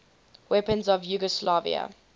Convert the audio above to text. weapons of yugoslavia